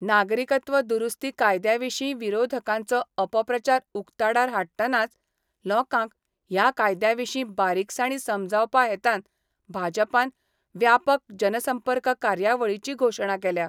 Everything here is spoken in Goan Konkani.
नागरिकत्व दुरुस्ती कायद्याविशी विरोधकांचो अपप्रचार उक्ताडार हाडटनाच लोकांक ह्या कायद्याविशी बारीकसाणी समजावपा हेतान भाजपान व्यापक जनसंपर्क कार्यावळीची घोषणा केल्या.